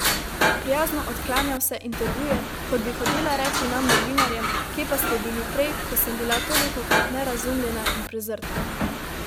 Prijazno odklanja vse intervjuje, kot bi hotela reči nam novinarjem, kje pa ste bili prej, ko sem bila tolikokrat nerazumljena in prezrta.